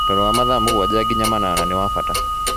Toro wa mathaa mũgwanja nginya manana nĩ wa bata